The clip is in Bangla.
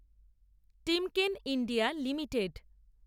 Timken India limited